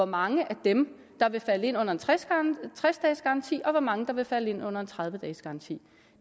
mange af dem der vil falde ind under en tres dages garanti og hvor mange der vil falde ind under en tredive dages garanti